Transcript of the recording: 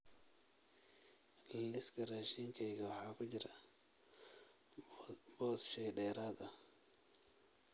Liiska raashinkayga waxa ku jira boos shay dheeraad ah